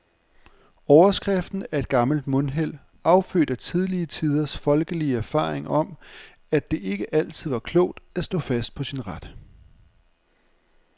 Overskriften er et gammelt mundheld, affødt af tidligere tiders folkelige erfaring om, at det ikke altid var klogt at stå fast på sin ret.